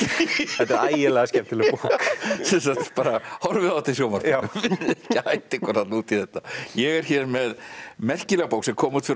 þetta er ægilega skemmtileg bók sem sagt bara horfið á þetta í sjónvarpinu ekki hætta ykkur út í þetta ég er hér með merkilega bók sem kom út fyrir